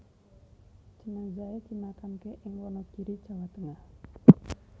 Jenazahe dimakamke ing Wonogiri Jawa Tengah